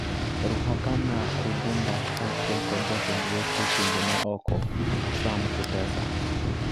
Ruhakana Rugunda kaachiel kod jatend weche pinje ma oko, Sam Kutesa,